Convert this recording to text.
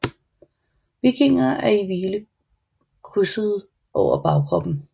Vingerne er i hvile krydsede over bagkroppen